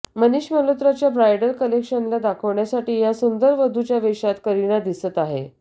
मनीष मल्होत्राच्या ब्रायडल कलेक्शनला दाखवण्यासाठी या सुंदर वधूच्या वेशात करीना दिसत आहे